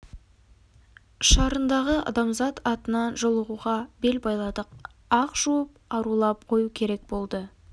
шарындағы адамзат атынан жолығуға бел байладық ақ жуып арулап қою керек болды